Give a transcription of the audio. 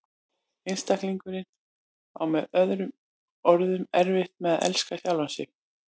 Einstaklingurinn á með öðrum orðum erfitt með að elska sjálfan sig.